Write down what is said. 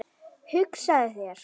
Hugsaðu þér.